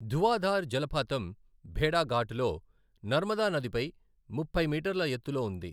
ధువాధార్ జలపాతం భేడాఘాట్ లో నర్మదా నదిపై ముప్పై మీటర్ల ఎత్తులో ఉంది.